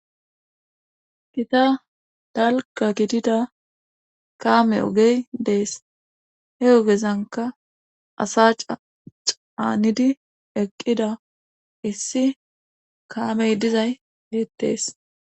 Gita dalgga gidida kaame ogey dees he ogezankka asa ca caanidi eqqida issi kaaamey dizay beettees.